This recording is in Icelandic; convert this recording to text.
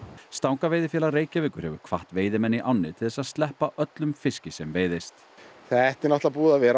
stangaveiðifélag Reykjavíkur hefur hvatt veiðimenn í ánni til þess að sleppa öllum fiski sem veiðist þetta er búið að vera